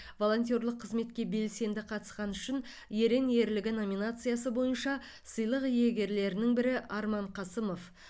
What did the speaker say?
волонтерлік қызметке белсенді қатысқаны үшін ерен ерлігі номинациясы бойынша сыйлық иегерлерінің бірі арман қасымов